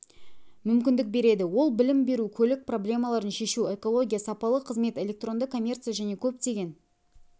мүмкіндік береді ол білім беру көлік проблемаларын шешу экология сапалы қызмет электронды коммерция және көптеген